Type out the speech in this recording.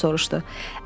Marta xala soruşdu.